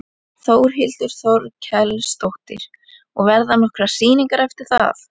Þórhildur Þorkelsdóttir: Og verða nokkrar sýningar eftir það?